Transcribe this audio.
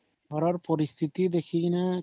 ଘର ର ପରିସ୍ଥିତି ଦେଖିକରି କିନା